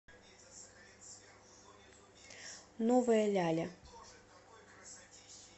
новая ляля